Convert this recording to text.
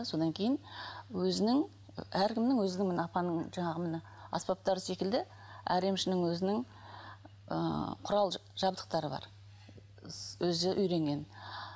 содан кейін өзінің әркімнің өзінің міне апаның жаңағы міне аспаптары секілді әр емшінің өзінің ыыы құрал жабдықтары бар өзі үйренген